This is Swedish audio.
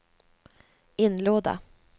inlåda